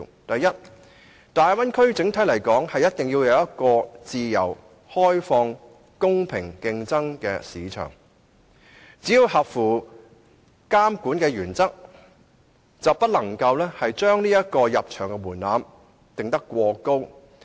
第一個中心思想：大體而言，大灣區必須提供一個自由開放、容許公平競爭的市場，只要合乎監管的原則，卻不能將入場門檻定得過高。